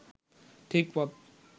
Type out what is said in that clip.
ঠিক পথ